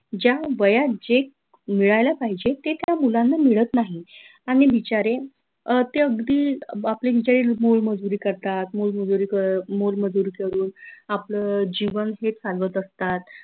ज्या वयात जे मिळायला पाहिजे ते त्या मुलांना मिळत नाही आनि बिचारे अह ते अगदी आपले बिचारे मोलमजुरी करतात मोलमजुरी क मोलमजुरी करून आपलं जीवन हे चालवत असतात